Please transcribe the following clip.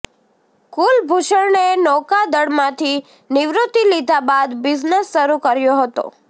કુલભૂષણે નૌકાદળમાંથી નિવૃત્તિ લીધા બાદ બિઝનેસ શરૂ કર્યો હતો